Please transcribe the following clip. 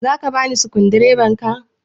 Zaka bani sukundibar ka?